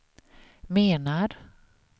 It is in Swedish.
menar